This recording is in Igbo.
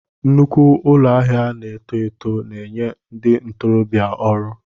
Nnukwu ụlọ ahịa na-eto eto na-enye ndị ntorobịa ọrụ.